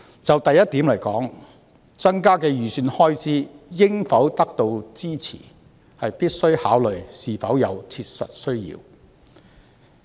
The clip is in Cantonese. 就第一點來說，預算開支增加應否獲得支持，必須考慮是否有切實需要。